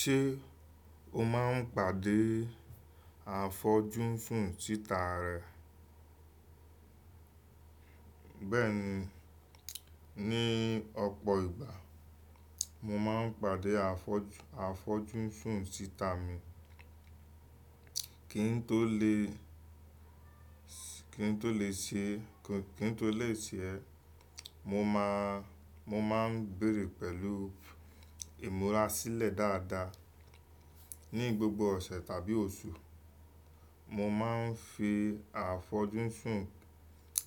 Ṣé o máà ń pàdé àfojú fún títa rẹ? Bẹ́ẹ̀ni, ní ọ̀pọ̀ ìgbà mo máa ń pàdé àfojú, àfojú fún títa mi. Kí n tó lè, kí n tó lè ṣe, kí n tó lè ṣe ẹ́, mo máa, mo máa ń béèrè pẹ̀lú ìmúra sílẹ̀ dáadáa. Ní gbogbo ọ̀sẹ̀ tàbí oṣù, mo máa ń fi àfojú sùn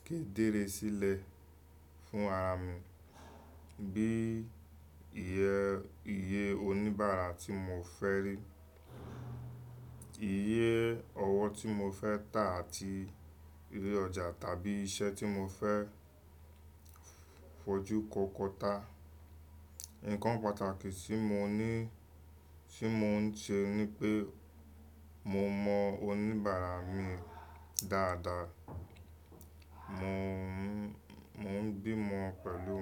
ké déré sílẹ̀ fún ara mi. Bí iye, iye oníbàárà tí mo fẹ́ rí, iye ọwọ́ tí mo fẹ́ tà àti eré ọjà tàbí iṣẹ́ tí mo fẹ́ fojú kó kọta. Nǹkan pàtàkì tí mo ní, tí mo ń ṣe ni pé mo mọ oníbàárà mi dáadáa. Mo ń gbìmọ̀ pẹ̀lú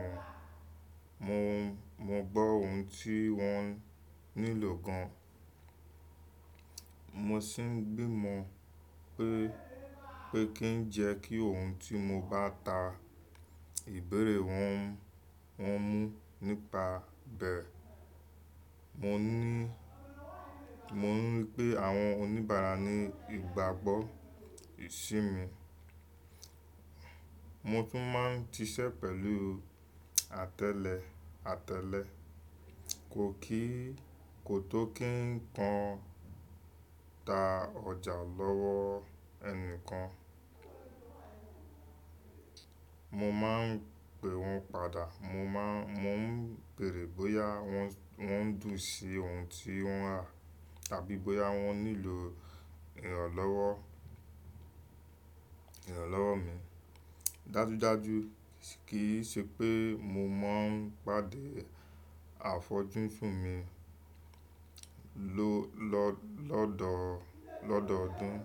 wọn, mo gbọ́ ohun tí wọ́n nílò gan. Mo sin gbìmọ̀ pé kin jẹ́ kí ohun tí mo bá ta ìbéèrè wọn, wọn mú mu nípa bẹ́ẹ̀. Mò ní, mò ń rí pé àwọn oníbàárà ní ìgbàgbọ́ ìṣe mi. Mo tún máa ń ṣise pẹ̀lú àtẹ́lẹ, àtẹ́lẹ. Ko kí, ko tó kí n kan ta ọjà lọ́wọ́ ẹnìkan, mo máa ń pẹ́ wọn padà. Mo máa n mo ń béèrè bóyá wọ́n dùn sí ohun tí wọ́n rà tàbí bóyá wọ́n nílò ìrànlọ́wọ́, ìrànlọ́wọ́ mi. Dájúdájú kì í ṣe pé mo máa ń pàdé àfojú fún mi lọ́, lọ́, lọ́dọ̀, lọ́dọ̀ ọdún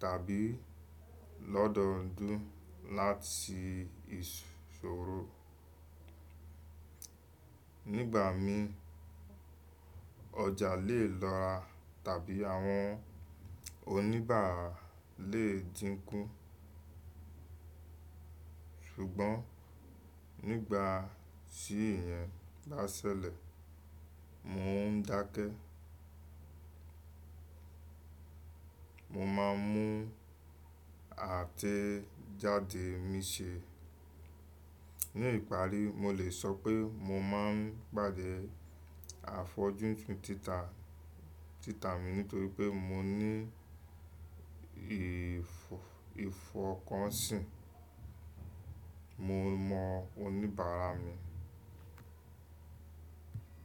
tàbí lọ́dọ̀ ọdún láti ìṣọ́rọ̀. Nígbà mí ọjà lè lọra tàbí àwọn oníbàárà lè dínkù. Ṣùgbọ́n nígbà tí èèyàn bá ṣẹlẹ̀, mò ń dákẹ́. Mo máa ń mú àtẹ́jáde mi ṣe. Ní ìparí, mo lè sọ pé mo máa ń pàdé àfojú fún títa, títa mi nítorí pé mo ní ìfọ, ìfọ̀kànsìn. Mo mọ oníbàárà mi.